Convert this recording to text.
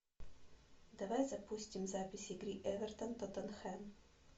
давай запустим запись игры эвертон тоттенхэм